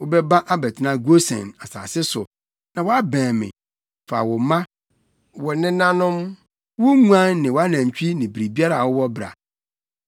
Wobɛba abɛtena Gosen + 45.10 Na Gosen da Nil fam a na ɛyɛ asase pa. asase so, na woabɛn me. Fa wo mma, wo nananom, wo nguan ne wʼanantwi ne biribiara a wowɔ bra.